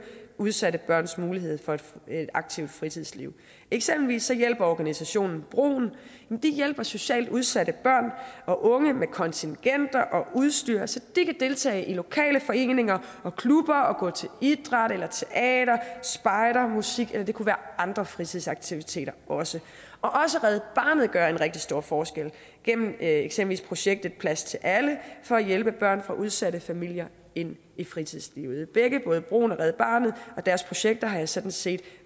udsatte børns mulighed for et aktivt fritidsliv eksempelvis hjælper organisationen broen socialt udsatte børn og unge med kontingenter og udstyr så de kan deltage i lokale foreninger og klubber og gå til idræt teater spejder eller musik eller det kunne være andre fritidsaktiviteter også red barnet gør en rigtig stor forskel gennem eksempelvis projektet plads til alle for at hjælpe børn fra udsatte familier ind i fritidslivet både broen og red barnet og deres projekter har jeg sådan set